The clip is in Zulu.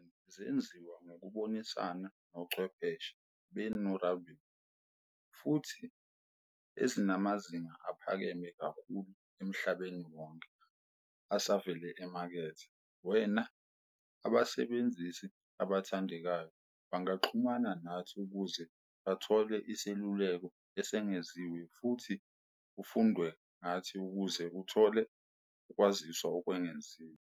Izibani zenziwa ngokubonisana nochwepheshe be-norabin, futhi ezinamazinga aphakeme kakhulu emhlabeni wonke asevele emakethe. Wena abasebenzisi abathandekayo bangaxhumana nathi ukuze uthole iseluleko esengeziwe futhi ufunde ngathi ukuze uthole ukwaziswa okwengeziwe.